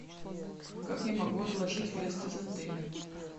как я могу отложить выезд из отеля